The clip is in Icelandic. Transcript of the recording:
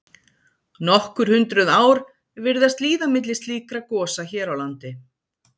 nokkur hundruð ár virðast líða milli slíkra gosa hér á landi